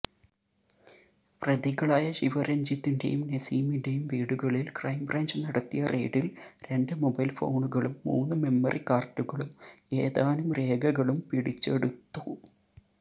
പ്രതികളായ ശിവരഞ്ജിത്തിന്റെയും നസീമിന്റെയും വീടുകളിൽ ക്രൈംബ്രാഞ്ച് നടത്തിയ റെയിഡിൽ രണ്ട് മൊബൈൽഫോണുകളും മൂന്ന് മെമ്മറി കാർഡുകളും ഏതാനും രേഖകളും പിടിച്ചെടുതത്തു